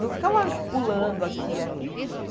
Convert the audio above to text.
Não ficava pulando aqui e ali.